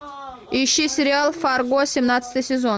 ищи сериал фарго семнадцатый сезон